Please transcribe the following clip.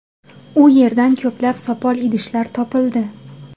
U yerdan ko‘plab sopol idishlar topildi.